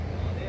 O, nədir?